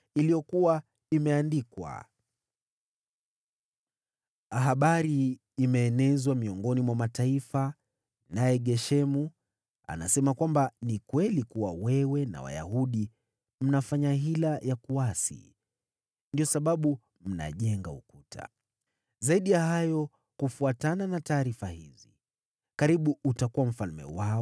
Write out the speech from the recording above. iliyokuwa imeandikwa: “Habari imeenezwa miongoni mwa mataifa, naye Geshemu anasema kwamba ni kweli, kuwa wewe na Wayahudi mnafanya hila ya kuasi, ndiyo sababu mnajenga ukuta. Zaidi ya hayo, kufuatana na taarifa hizi, karibuni utakuwa mfalme wao,